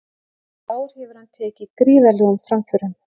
En í ár hefur hann tekið gríðarlegum framförum.